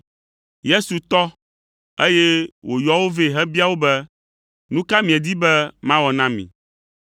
Yesu tɔ, eye wòyɔ wo vɛ hebia wo be, “Nu ka miedi be mawɔ na mi?”